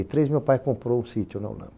E três, meu pai comprou o sítio na Olâmbra.